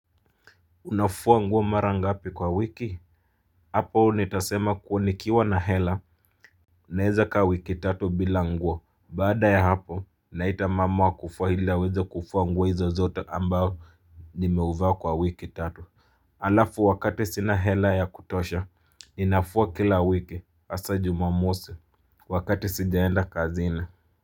Unafua nguo mara ngapi kwa wiki? Hapo nitasema kuwa nikiwa na hela naeza kaa wiki tatu bila nguo. Baada ya hapo, naita mama wa kufua ili aweze kufua nguo hizo zote ambayo nimevaa kwa wiki tatu. Alafu wakati sina hela ya kutosha ninafua kila wiki hasa jumamosi. Wakati sijaenda kazini.